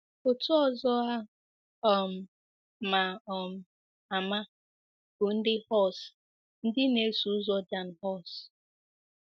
Otu ọzọ a um ma um ama bụ ndị Hus, ndị na-eso ụzọ Jan Hus.